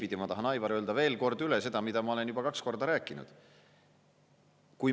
Aga ma tahan, Aivar, öelda veel kord seda, mida ma olen juba kaks korda rääkinud.